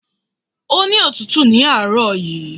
Ó ní otútù ní àárọmọ̀ yìí